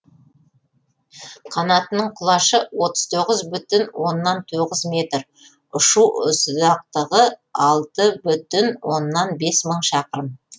қанатының құлашы отыз бес бүтін оннан тоғыз метр ұшу ұзақтығы алты бүтін оннан бес мың шақырым